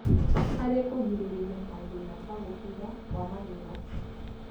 harĩ kũgirĩrĩria mathĩna ta gũbutha kwa magego.